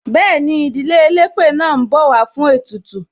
Bẹẹni, ìdílé elépè náà ń bọ̀ wá fún ètùtù.